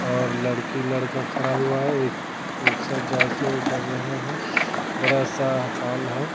और लड़की लड़का खड़ा हुआ है ए जैसे कर रहे हैं बड़ा सा हॉल है।